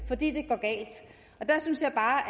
fordi det går galt der synes jeg bare